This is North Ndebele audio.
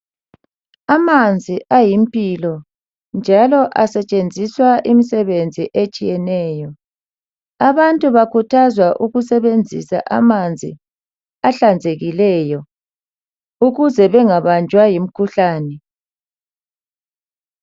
Amanzi ayimpilo njalo asetshenziswa imisebenzi etshiyeneyo. Abantu bakhuthazwa ukusebenzisa amanzi ahlanzekileyo ukuze bengabanjwa yimikhuhlane.